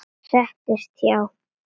Settist hjá